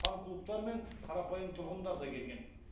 фанклубтар мен қарапайым тұрғындар да келген